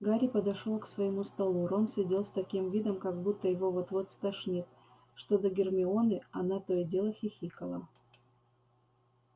гарри подошёл к своему столу рон сидел с таким видом как будто его вот-вот стошнит что до гермионы она то и дело хихикала